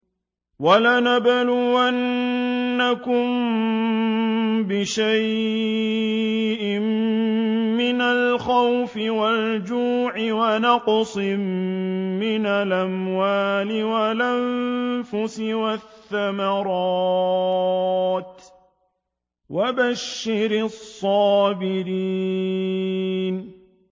وَلَنَبْلُوَنَّكُم بِشَيْءٍ مِّنَ الْخَوْفِ وَالْجُوعِ وَنَقْصٍ مِّنَ الْأَمْوَالِ وَالْأَنفُسِ وَالثَّمَرَاتِ ۗ وَبَشِّرِ الصَّابِرِينَ